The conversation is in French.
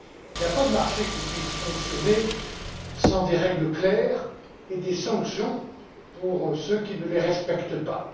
Il n'y a pas de marché qui puisse fonctionner sans règles claires ni sanctions pour ceux qui ne les respectent pas.